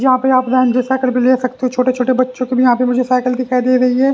यहां पे आप रेंजर साइकिल भी ले सकते हो छोटे-छोटे बच्चों की भी यहां पे मुझे साइकिल दिखाई दे रही है।